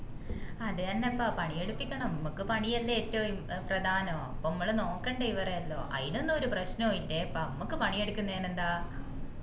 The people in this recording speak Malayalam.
അത് എന്നെ പ്പ പണി എടുപ്പിക്കണം മ്മക്ക് പണി അല്ലെ ഏറ്റവും പ്രധാനം പ്പോ മ്മള് നോക്കണ്ടേ ഇവറെ എല്ലാം അയിനൊന്നും ഒരു പ്രശ്നോമ് ഇല്ലേ പ്പോ മ്മക്ക് പണി എടുക്കുന്നെന് ന്ത